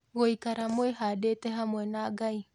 Gũikara Mwĩhandĩte Hamwe na Ngai